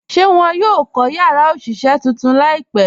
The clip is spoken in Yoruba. Ṣé wọn yóò kọ̀ yàrá òṣiṣẹ̀ tuntun laípẹ̀?